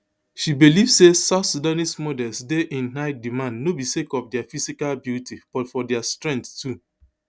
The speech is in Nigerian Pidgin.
she believe say south sudanese models dey in high demand no be sake of dia physical beauty but for dia strength too